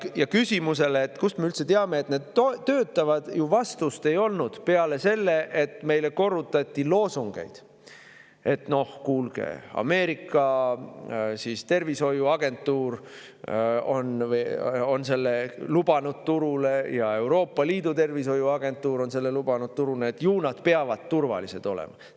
Ja küsimusele, kust me üldse teame, et need töötavad, ju vastust ei olnud peale selle, et meile korrutati loosungeid: "Noh, kuulge, Ameerika tervishoiuagentuur on selle lubanud turule ja Euroopa Liidu tervishoiuagentuur on selle lubanud turule, ju nad peavad turvalised olema.